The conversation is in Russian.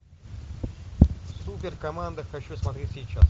супер команда хочу смотреть сейчас